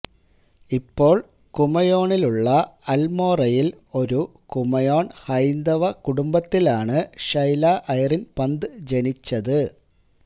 ഇപ്പോൾ കുമയോണിലുള്ള അൽമോറയിൽ ഒരു കുമയോൺ ഹൈന്ദവ കുടുംബത്തിലാണ് ഷൈല ഐറിൻ പന്ത് ജനിച്ചത്